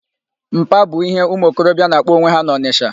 Mpa', bụ íhé ụmụokorobịa na-akpọ onwe ha n'Ọnịsha.